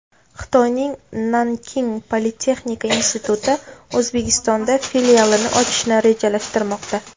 Xitoyning Nanking politexnika instituti O‘zbekistonda filialini ochishni rejalashtirmoqda.